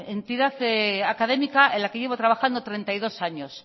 entidad académica en la que llevo trabajando treinta y dos años